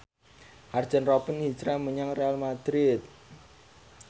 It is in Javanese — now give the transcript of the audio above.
Arjen Robben hijrah menyang Real madrid